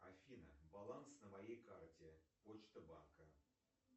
афина баланс на моей карте почта банка